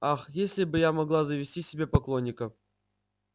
ах если бы я могла завести себе поклонника